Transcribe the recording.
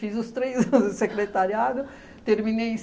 Fiz os três anos do secretariado, terminei em